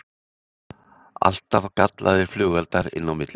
Alltaf gallaðir flugeldar inn á milli